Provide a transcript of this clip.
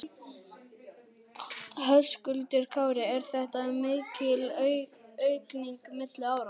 Höskuldur Kári: Er þetta mikil aukning milli ára?